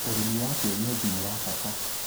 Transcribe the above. Ũrĩmi wa kĩenyeji ni wa bata